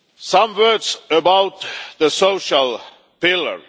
Some words about the social pillar.